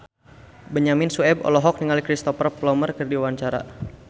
Benyamin Sueb olohok ningali Cristhoper Plumer keur diwawancara